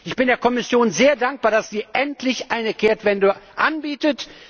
Ich bin der Kommission sehr dankbar, dass sie endlich eine Kehrtwende anbietet.